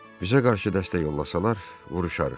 Bizə qarşı dəstək yollasalar, vuruşarıq.